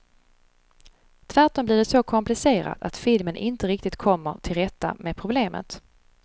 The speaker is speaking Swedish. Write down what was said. Tvärtom blir det så komplicerat att filmen inte riktigt kommer till rätta med problemet.